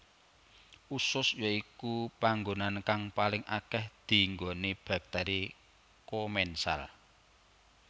Usus ya iku panggonan kang paling akeh dinggoni bakteri komensal